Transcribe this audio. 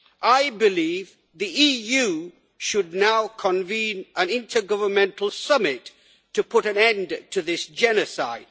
I believe the EU should now convene an intergovernmental summit to put an end to this genocide.